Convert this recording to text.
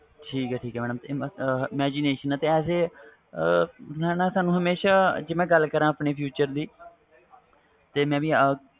ਠੀਕ ਠੀਕ imagition as a ਸਾਨੂੰ ਹਮੇਸ਼ਾ ਜੇ ਮੈਂ ਗੱਲ ਕਰਾ ਆਪਣੇ future a